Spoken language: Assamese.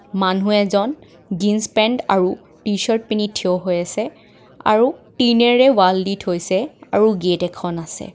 মানুহ এজন জিনছ পেন্ত আৰু টিচাৰ্ত পিন্ধি থিয় হৈ আছে আৰু টিন এৰে ৱাল দি থৈছে আৰু গেট এখন আছে.